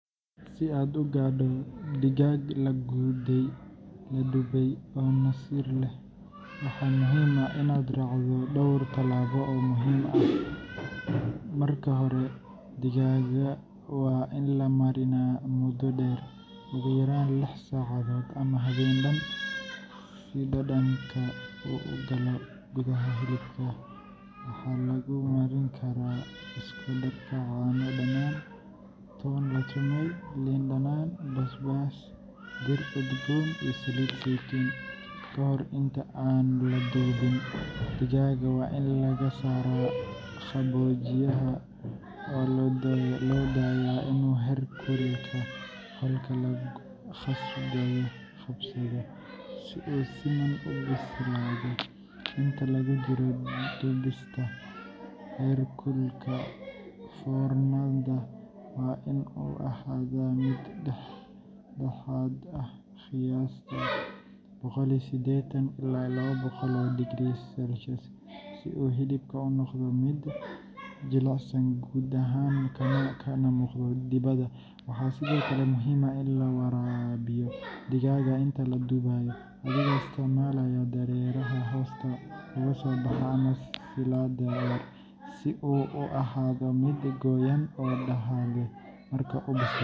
Si aad u gaadho digaag la dubay oo nasiir leh, waxaa muhiim ah inaad raacdo dhowr tallaabo oo muhiim ah. Marka hore, digaaga waa in la mariinaa muddo dheer, ugu yaraan lix saacadood ama habeen dhan, si dhadhanka uu u galo gudaha hilibka. Waxaa lagu mariin karaa isku darka caano dhanaan, toon la tumay, liin dhanaan, basbaas, dhir udgoon iyo saliid saytuun. Ka hor inta aan la dubin, digaaga waa in laga saaraa qaboojiyaha oo loo daayaa inuu heerkulka qolka la qabsado, si uu si siman u bislaado. Inta lagu jiro dubista, heerkulka foornada waa in uu ahaadaa mid dhexdhexaad ah qiyaastii boqol sidetan ila laba boqol herkulka, si uu hilibku u noqdo mid jilicsan gudaha kana muuqdo dibadda. Waxaa sidoo kale muhiim ah in la waraabiyo digaaga inta la dubayo, adigoo isticmaalaya dareeraha hoosta uga soo baxa ama saliid yar, si uu u ahaado mid qoyan oo dhadhan leh. Marka uu bislaado.